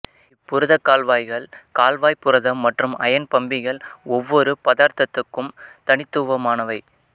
இப்புரதக் கால்வாய்கள் கால்வாய்ப் புரதம் மற்றும் அயன் பம்பிகள் ஒவ்வொரு பதார்த்தத்துக்கும் தனித்துவமானவை